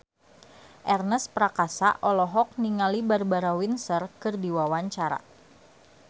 Ernest Prakasa olohok ningali Barbara Windsor keur diwawancara